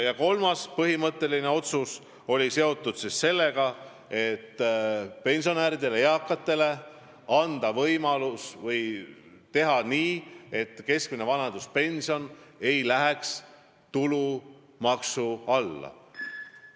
Ja kolmas põhimõtteline otsus oli see, et anname pensionäridele, eakatele lisavõimaluse: keskmine vanaduspension ei lähe tulumaksu alla.